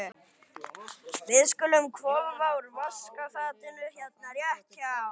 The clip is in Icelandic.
Við skulum hvolfa úr vaskafatinu hérna rétt hjá.